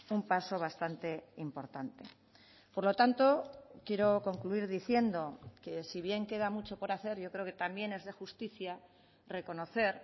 un paso bastante importante por lo tanto quiero concluir diciendo que si bien queda mucho por hacer yo creo que también es de justicia reconocer